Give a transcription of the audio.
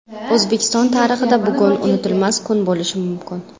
O‘zbekiston tarixida bugun unutilmas kun bo‘lishi mumkin.